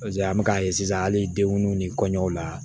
an bɛ k'a ye sisan hali denw ni kɔɲɔw la